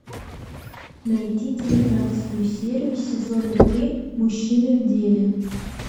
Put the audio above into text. найти девятнадцатую серию сезона три мужчины в деле